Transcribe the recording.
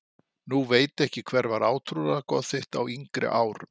Nú veit ekki Hver var átrúnaðargoð þitt á yngri árum?